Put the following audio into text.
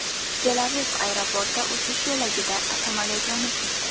Tel-Aviv aeroporti uchish yo‘lagida samolyot yonib ketdi.